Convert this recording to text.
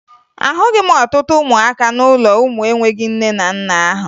Ahụghị m ọtụtụ ụmụaka n'ụlọ ụmụ enweghi nne na nna ahụ